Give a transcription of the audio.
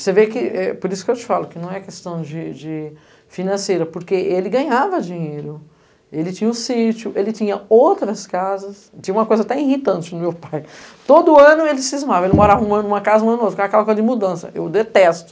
Você vê que, é por isso que eu te falo que não é questão de, de financeira, porque ele ganhava dinheiro, ele tinha um sítio, ele tinha outras casas, tinha uma coisa até irritante no meu pai, todo ano ele cismava, ele morava um ano em uma casa, um ano em outra, ficava aquela coisa de mudança, eu detesto.